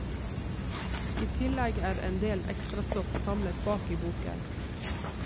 I tillegg er endel ekstrastoff samlet bak i boken.